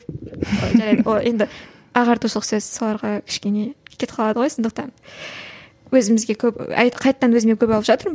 жарайды ол енді ағартушылық сөз соларға кішкене кетіп қалады ғой сондықтан өзімізге көп қайтадан өзіме көп алып жатырмын